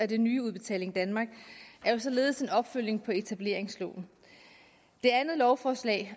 det nye udbetaling danmark er således en opfølgning på etableringsloven det andet lovforslag